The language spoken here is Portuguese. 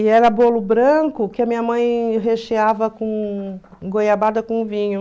E era bolo branco que a minha mãe recheava com goiabada com vinho.